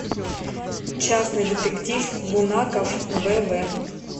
частный детектив бунаков вв